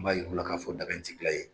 N b'a yi'ra u la k'a fɔ daga in ti dilan yen.